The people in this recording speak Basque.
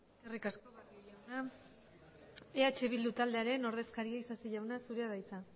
eskerrik asko barrio jauna eh bildu taldearen ordezkaria isasi jauna zurea da hitza